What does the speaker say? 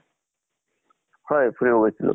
হয় ফুৰিব গৈছিলো।